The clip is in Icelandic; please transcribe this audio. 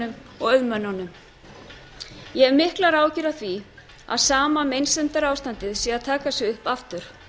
kynningarstjórunum og auðmönnunum ég hef miklar áhyggjur af því að sama meinsemdarástandið sé að taka sig upp aftur